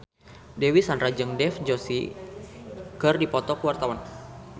Dewi Sandra jeung Dev Joshi keur dipoto ku wartawan